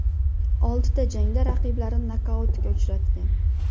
Oltida jangda raqiblarini nokautga uchratgan.